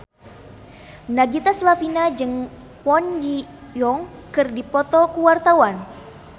Nagita Slavina jeung Kwon Ji Yong keur dipoto ku wartawan